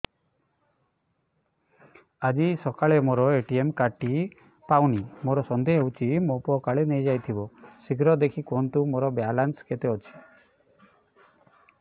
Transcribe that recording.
ଆଜି ସକାଳେ ମୋର ଏ.ଟି.ଏମ୍ କାର୍ଡ ଟି ପାଉନି ମୋର ସନ୍ଦେହ ହଉଚି ମୋ ପୁଅ କାଳେ ନେଇଯାଇଥିବ ଶୀଘ୍ର ଦେଖି କୁହନ୍ତୁ ମୋର ବାଲାନ୍ସ କେତେ ଅଛି